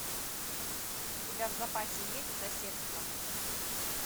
у тебя в запасе есть соседство